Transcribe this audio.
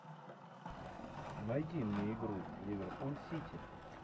найди мне игру ливерпуль сити